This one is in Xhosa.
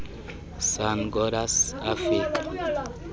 sun goddess afika